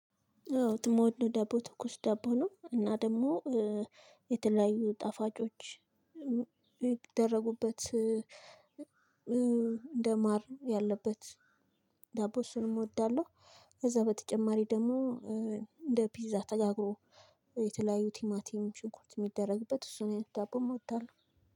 አዎ ትሞሉ ደቦ ትኩስ ዳቦ ነው እና ደግሞ የተለያዩ ጣፋጮች ይደረጉበት እንደማር ያለበት ዳቦ እሱንም እወዳለሁ። ከዛ በተጨማሪ ደግሞ እንደ ፒዛ ተጋግሮ የተለያዩ ቲማቲም ሽንኩርት የሚደረግበት እሱን አይነት ዳቦም እወዳለሁ።